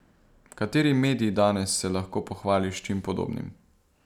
Kateri medij danes se lahko pohvali s čim podobnim?